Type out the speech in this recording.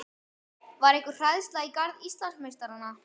Var einhver hræðsla í garð Íslandsmeistarana?